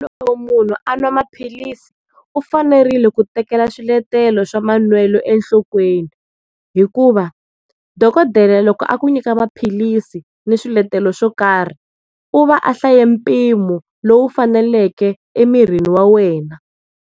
Loko munhu a nwa maphilisi u fanerile ku tekela swiletelo swa manwelo enhlokweni hikuva dokodela loko a ku nyika maphilisi ni swiletelo swo karhi u va hlaye mpimo lowu faneleke emirini wa wena.